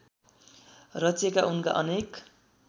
रचिएका उनका अनेक